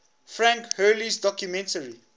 frank hurley's documentary